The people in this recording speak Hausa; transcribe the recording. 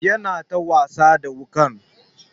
Yana ta wasa da wukan.